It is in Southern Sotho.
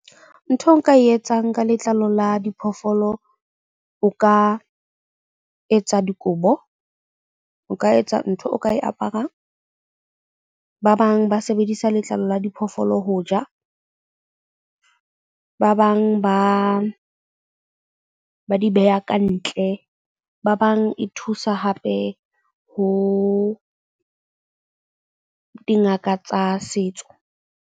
Ntho eo nka e etsang ka letlalo la diphoofolo, o ka etsa dikobo, o ka etsa ntho o ka e aparang. Ba bang ba sebedisa letlalo la diphoofolo ho ja. Ba bang ba di beha kantle. Ba bang e thusa hape ho dingaka tsa setso.